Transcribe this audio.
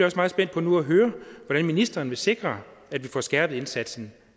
også meget spændt på nu at høre hvordan ministeren vil sikre at vi får skærpet indsatsen